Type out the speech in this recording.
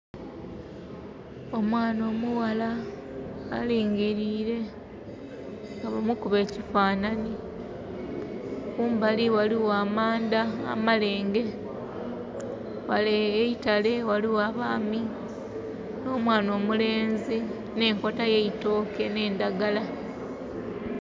Omwaana omughala alingirile nga bamukuba ekifanhanhi, kumbali ghaligho amandha amalenge. Ghale eitale ghaligho abaami no mwaana omulenzi n' enkota y' eitooke nhe ndhagala.